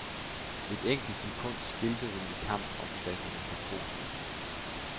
Et enkelt sekund skilte dem i kampen om pladserne på podiet.